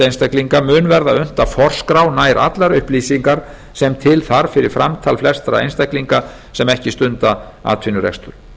einstaklinga mun verða unnt að forskrá nær allar upplýsingar sem til þarf fyrir framtal flestra einstaklinga sem ekki stunda atvinnurekstur